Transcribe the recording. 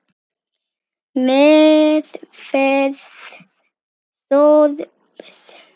Meðferð sorps